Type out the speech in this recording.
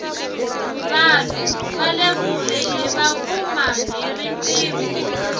vanhu vale kule hiva kuma hi riqingho